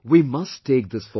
We must take this forward